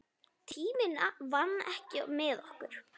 Tíminn vann ekki með okkur.